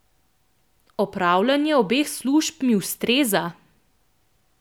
Opravljanje obeh služb mi ustreza.